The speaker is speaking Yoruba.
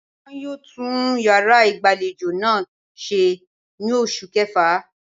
Won yóò tún yàrá ìgbàlejò náà ṣe ní oṣù kẹfà